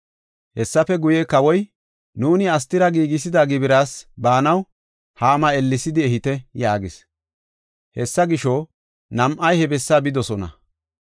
Hessafe guye kawoy, “Nuuni Astira giigisida gibiras baanaw Haama ellesidi ehite” yaagis. Hessa gisho nam7ay he bessaa bidosona.